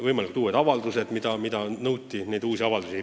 Eelnõu algvariandis nõuti uusi avaldusi.